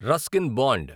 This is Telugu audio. Ruskin bond